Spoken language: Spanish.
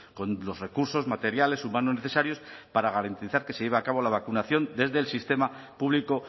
con los recursos materiales humanos necesarios para garantizar que se lleve a cabo la vacunación desde el sistema público